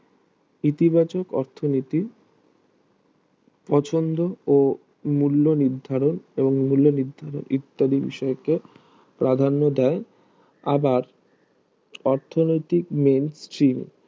ইতিবাচক অর্থনীতি পছন্দ ও মূল্য নির্ধারণ এবং মূল্য নির্ধারণ ইত্যাদি বিষয়কে প্রাধান্য দেয় আবার অর্থনৈতিক main stream